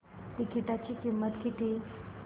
तिकीटाची किंमत किती